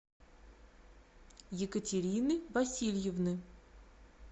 екатерины васильевны